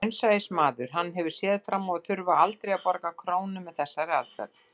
Raunsæismaður, hann hefur séð fram á að þurfa aldrei að borga krónu með þessari aðferð.